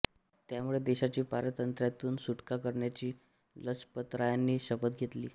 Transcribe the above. त्यामुळे देशाची पारतंत्र्यातून सुटका करण्याची लजपतरायांनी शपथ घेतली